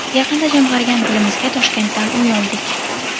Yaqinda jamg‘argan pulimizga Toshkentdan uy oldik.